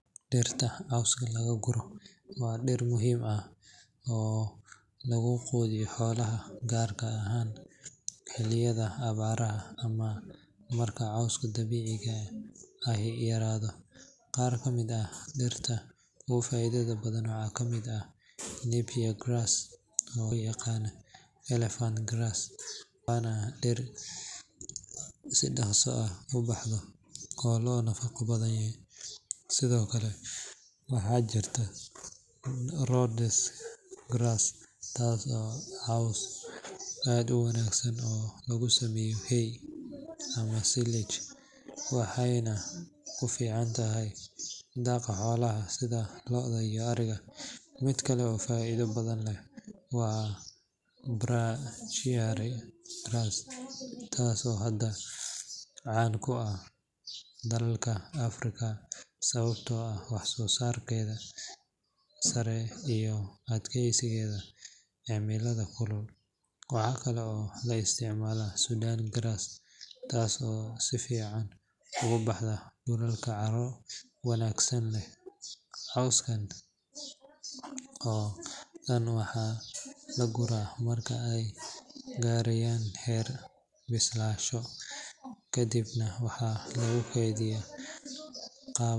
Dhirta cawska lagu guro waa dhir muhiim ah oo lagu quudiyo xoolaha, gaar ahaan xilliyada abaarta ama xilliyada uu yaraado cawska dabiiciga ah aay yaradaan . D Qaar ugu faa’iidada badan waxaa ka mid ah Nipea Grass oo sidoo kale loo yaqaan Elephant Grass, waa dhir si dhakhso ah u baxda oo nafaqo badan leh. Waxay aad ugu habboon tahay daaqa lo’da iyo ariga. sidhokale waxaa jirtaa Ropaz Grass Waa dhir aad ugu wanaagsan samaynta hay ama silage, waxaana ku ficantay daqaa xolaha sidha lo’da iyo ariga miit kale oo faido badan leeh wa Brachiaria Grass Waa nooc caan ka ah dalalka Afrika sababo la xiriira wax-soo-saarkeeda sare iyo adkeysigeeda cimilada kulul. Waxaa loo adeegsadaa si ballaaran quudinta xoolaha. waxaa kale oo la isticmalaa Sudan Grass Waa dhir aad si fiican ugu baxda dhulalka leh carro wanaagsan. Cawska dhammaan dhirtaas marka ay gaaraan heer la islaasho kaddib na waxaa lagu kaydiyaa qaabab...